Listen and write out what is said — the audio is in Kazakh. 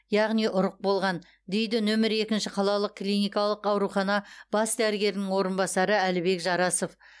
яғни ұрық болған дейді нөмірі екінші қалалық клиникалық аурухана бас дәрігерінің орынбасары әлібек жарасов